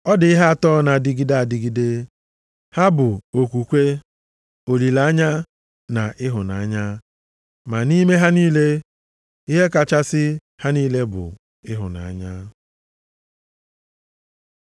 Ọ dị ihe atọ na-adịgide adịgide. Ha bụ okwukwe, olileanya, na ịhụnanya. Ma nʼime ha niile, ihe kachasị ha niile bụ ịhụnanya.